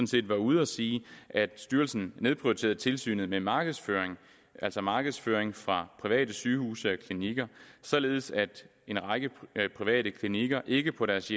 set var ude at sige at styrelsen nedprioriterede tilsynet med markedsføring altså markedsføring fra private sygehuse og klinikker således at en række private klinikker ikke på deres